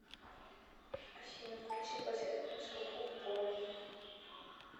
афина включи подсветку на шкафу в уборной